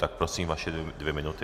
Tak prosím, vaše dvě minuty.